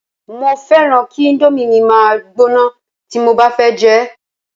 mo fẹràn ki Indomie mi ma gbóná ti mo ba fẹ jẹ